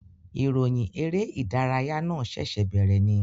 Ìròyìn eré ìdárayá náà ṣẹ̀ṣẹ̀ bèèrè ni